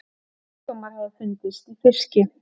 Sjúkdómar hafa fundist í fiski.